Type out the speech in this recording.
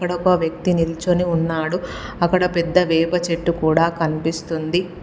అక్కడ ఒక వ్యక్తి నిల్చొని ఉన్నాడు. అక్కడ పెద్ద వేప చెట్టు కూడా కనిపిస్తుంది.